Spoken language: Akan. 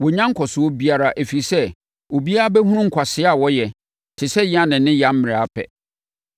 Wɔnnya nkɔsoɔ biara ɛfiri sɛ, obiara bɛhu nkwasea a wɔyɛ te sɛ Yane ne Yambre ara pɛ.